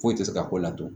Foyi tɛ se ka ko ladɔn